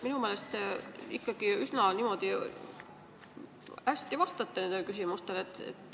Minu meelest te üsna hästi vastate küsimustele.